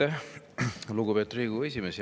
Aitäh, lugupeetud Riigikogu esimees!